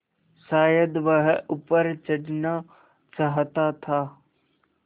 शायद वह ऊपर चढ़ना चाहता था